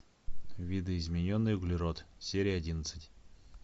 видоизмененный углерод серия одиннадцать